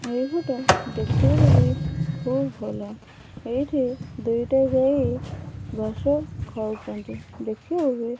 ଏଇ ଫଟୋ ଦେଖିବାକୁ ବି ଖୁବ୍ ଭଲ ଏଇଠି ଦୁଇଟା ଗାଈ ଘାସ ଖାଉଚନ୍ତି ଦେଖିବାକୁ।